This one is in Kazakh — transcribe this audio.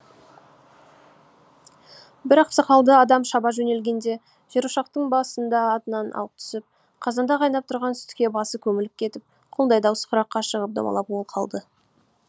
бір ақсақалды адам шаба жөнелгенде жерошақтың ба сында атынан ауып түсіп қазанда қайнап тұрған сүтке басы көміліп кетіп құлындай даусы құраққа шығып домалап ол қалды